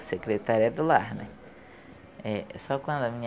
secretária do lar, né? É, só quando a minha